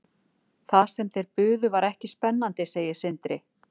Það sem þeir buðu var ekki spennandi, segir Sindri.